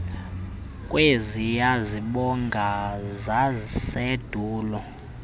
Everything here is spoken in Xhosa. kweziya zibongo zasendulo